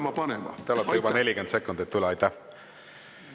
Mart Helme, te olete juba 40 sekundit üle läinud.